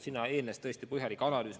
Sellele eelnes tõesti põhjalik analüüs.